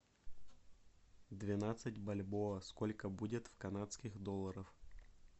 двенадцать бальбоа сколько будет в канадских долларах